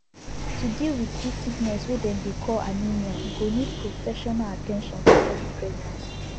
to deal wit this sickness wey dem dey call anemia e go need professional at ten tion for early pregnancy